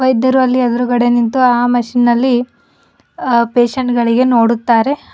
ಇದ್ದರೂ ಅಲ್ಲಿ ಎದುರುಗಡೆ ನಿಂತು ಆ ಮಷೀನ್ ನಲ್ಲಿ ಪೇಷಂಟ್ ಗಳಿಗೆ ನೋಡುತ್ತಾರೆ.